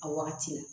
A wagati la